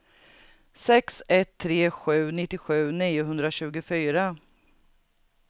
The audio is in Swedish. sex ett tre sju nittiosju niohundratjugofyra